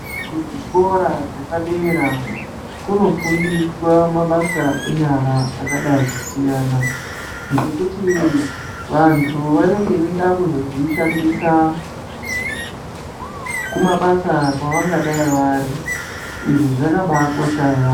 Kuzvikora zvepadera kunofundiswa mabasa enyara akadai kusiyana ngekuti vantu vanenge veida kuzozvishandisa kumabasa kwavangadai vari izvi zvakabaakosha ya.